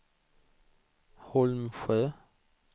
Holmsjö